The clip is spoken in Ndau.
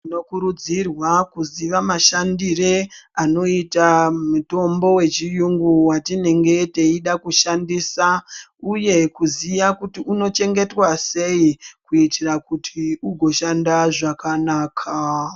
Tino kurudzirwa kuziva mashandire anoita mitombo we chiyungu watinenge teida kushandisa uye kuziya kuti uno chengetwa sei kuitira kuti ugo shanda zvakanaka.